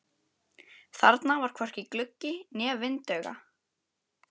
Þarna var hvorki gluggi né vindauga.